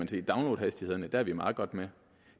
til downloadhastighederne er vi meget godt med